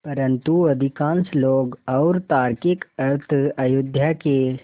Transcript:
परन्तु अधिकांश लोग और तार्किक अर्थ अयोध्या के